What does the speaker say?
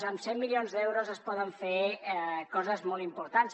amb cent milions d’euros es poden fer coses molt importants